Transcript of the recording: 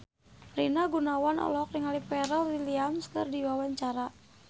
Rina Gunawan olohok ningali Pharrell Williams keur diwawancara